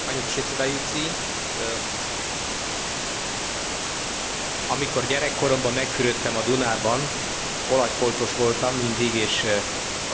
Amikor gyerekkoromban megfürödtem a Dunában, olajfoltos voltam mindig és olyan szagom is volt, úgyhogy remélem, hogy ez a jövőben változni fog.